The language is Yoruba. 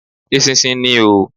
Eṣinṣin ni oo.